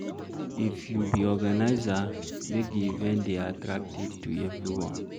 If you be organiser make di event dey attractive to everybody